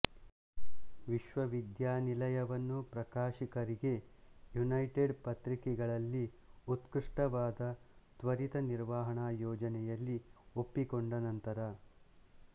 ವಿಶ್ವವಿದ್ಯಾನಿಲಯವನ್ನು ಪ್ರಕಾಶಕರಿಗೆ ಯುನೈಟೆಡ್ ಪತ್ರಿಕೆಗಳಲ್ಲಿ ಉತ್ಕೃಷ್ಟವಾದ ತ್ವರಿತ ನಿರ್ವಹಣಾ ಯೋಜನೆಯಲ್ಲಿ ಒಪ್ಪಿಕೊಂಡ ನಂತರ